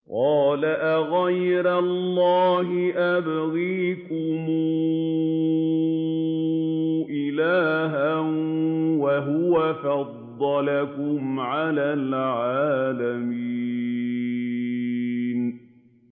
قَالَ أَغَيْرَ اللَّهِ أَبْغِيكُمْ إِلَٰهًا وَهُوَ فَضَّلَكُمْ عَلَى الْعَالَمِينَ